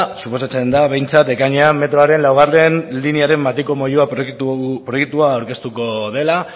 suposatzen da behintzat ekainean metroaren laugarrena linearen matiko moyua proiektua aurkeztuko dela